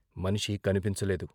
మనిషి కన్పించలేదు.